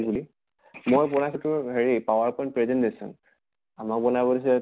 বুলি । মই বনাইছো তোৰ power point presentation আমাৰ বনাব দিছে